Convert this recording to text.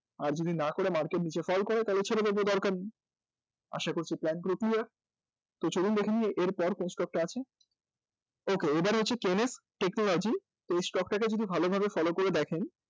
যদি না করে market নীচে fall করে তাহলে ছেড়ে দেব দরকার নেই আশা করছি plan পুরো clear তো চলুন দেখে নিই এর পর কোন stock টা আছে okay তো এবার হচ্ছে technology তো এই stock টা কে যদি ভালোভাবে follow করে দেখেন